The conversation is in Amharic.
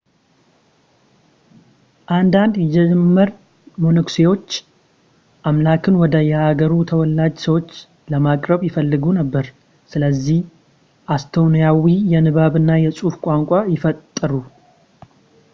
አንዳንድ የጀርመን መነኩሴዎች አምላክን ወደ የሃገሩ ተወላጅ ሰዎች ለማቅረብ ይፈልጉ ነበር ስለዚህ ኤስቶኒያዊ የንባብ እና የፅሑፍ ቋንቋ ፈጥሩ